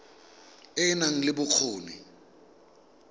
e e nang le bokgoni